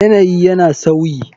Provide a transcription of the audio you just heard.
Yanayi yana sauyi.